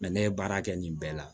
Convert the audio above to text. ne ye baara kɛ nin bɛɛ la